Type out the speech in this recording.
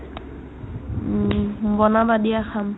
উম্, বনাবা দিয়া খাম